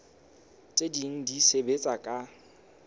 tse ding di sebetsa ka